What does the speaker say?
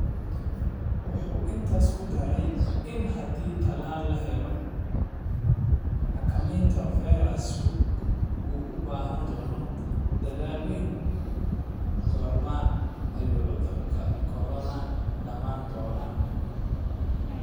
wuxuu intaas ku daray in haddii tallaal la helo, xakameynta fayrasku ay u baahan doonto "dadaal weyn", goorma ayuu cudurka corona dhammaan doonaa?